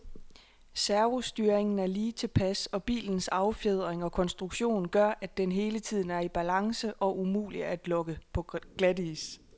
Servostyringen er lige tilpas, og bilens affjedring og konstruktion gør, at den hele tiden er i balance og umulig at lokke på glatis.